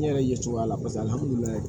N yɛrɛ ye cogoya la paseke